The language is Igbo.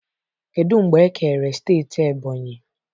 Kedu mgbe e kere steeti ebonyi?